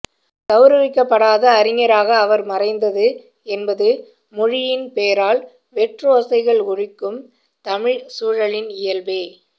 கௌரவிக்கப்படாத அறிஞராக அவர் மறைந்தது என்பது மொழியின் பேரால் வெற்றோசைகள் ஒலிக்கும் தமிழ்ச் சூழலில் இயல்பே